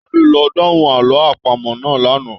Tade ló dahùn àlọ àpamọ̀ náà l'ana.